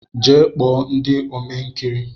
Jee kpo ndị Ome nkiri!